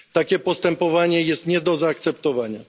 Takie postępowanie jest nie do zaakceptowania.